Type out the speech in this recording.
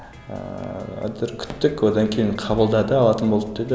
ііі әйтеуір күттік одан кейін қабылдады алатын болды деді